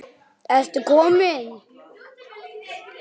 Ertu kominn!